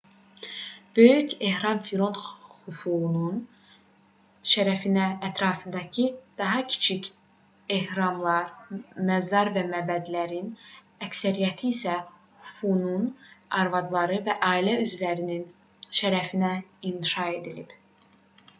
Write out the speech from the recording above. böyük ehram firon xufunun şərəfinə ətrafındakı daha kiçik ehramlar məzar və məbədlərin əksəriyyəti isə xufunun arvadları və ailə üzvlərinin şərəfinə inşa edilib